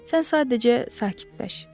Sən sadəcə sakitləş.